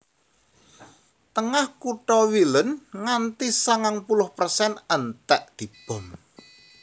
Tengah kutha Wielun nganti sangang puluh persen entèk dibom